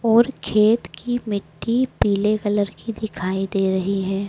और खेत की मिट्टी पीले कलर की दिखाई दे रही है।